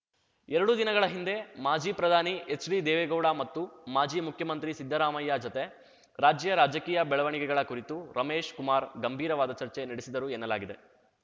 ಎರಡು ದಿನಗಳ ಹಿಂದೆ ಮಾಜಿ ಪ್ರಧಾನಿ ಎಚ್‌ಡಿ ದೇವೇಗೌಡ ಮತ್ತು ಮಾಜಿ ಮುಖ್ಯಮಂತ್ರಿ ಸಿದ್ದರಾಮಯ್ಯ ಜತೆ ರಾಜ್ಯ ರಾಜಕೀಯ ಬೆಳವಣಿಗೆಗಳ ಕುರಿತು ರಮೇಶ್‌ ಕುಮಾರ್‌ ಗಂಭೀರವಾದ ಚರ್ಚೆ ನಡೆಸಿದ್ದರು ಎನ್ನಲಾಗಿದೆ